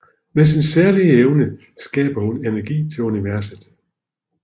Med sin særlige evne skaber hun energi til universet